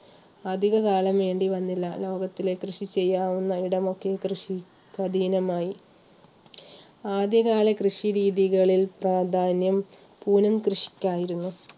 അധികകാലം വേണ്ടിവന്നില്ല ലോകത്തിലെ കൃഷി ചെയ്യാവുന്ന ഇടം ഒക്കെ കൃഷിക്ക് അധിനമായി ആദ്യകാല കൃഷി രീതികളിൽ പ്രാധാന്യം കൂനം കൃഷിക്കായിരുന്നു.